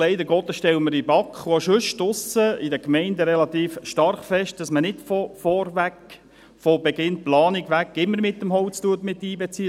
Leider Gottes stellen wir in der BaK und auch sonst draussen in den Gemeinden relativ stark fest, dass man nicht von vornherein, von Beginn der Planung an, immer Holz miteinbezieht.